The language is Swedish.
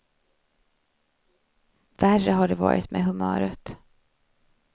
Värre har det varit med humöret.